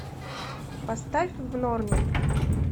поставь в норме